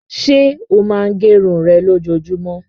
Ṣé ó máa gẹ irun rẹ lójoojúmọ́?